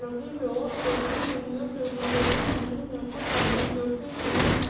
लगी है और उद बैठने के लिए टेबल डली हुईं हैं कुछ आदमी बैठे हुए हैं।